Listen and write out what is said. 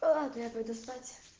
ладно я пойду спать